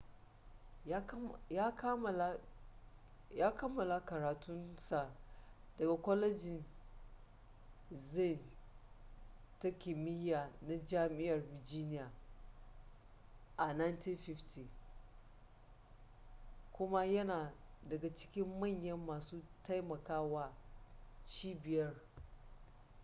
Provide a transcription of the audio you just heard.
ya kammala karatun sa daga kwalejin zane da kimiya na jami'ar virginia a 1950 kuma yana daga cikin manyan masu taimaka wa cibiyar